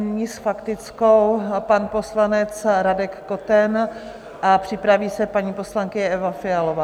Nyní s faktickou pan poslanec Radek Koten a připraví se paní poslankyně Eva Fialová.